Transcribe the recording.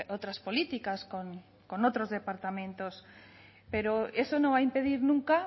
otras políticas con otros departamentos pero eso no va a impedir nunca